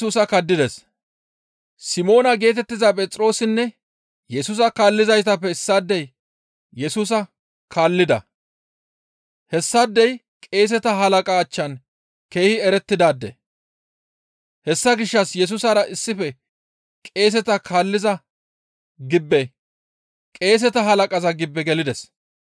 Simoona geetettiza Phexroosinne Yesusa kaallizaytappe issaadey Yesusa kaallida; hessaadey qeeseta halaqa achchan keehi erettidaade. Hessa gishshas Yesusara issife qeeseta halaqaza gibbe gelides.